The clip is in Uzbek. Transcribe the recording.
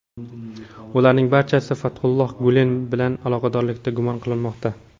Ularning barchasi Fathulloh Gulen bilan aloqadorlikda gumon qilinmoqda.